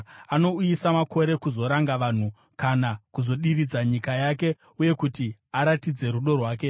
Anouyisa makore kuzoranga vanhu, kana kuzodiridza nyika yake kuti aratidze rudo rwake.